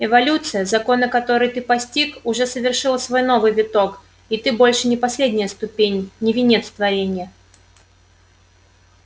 эволюция законы которой ты постиг уже совершила свой новый виток и ты больше не последняя ступень не венец творения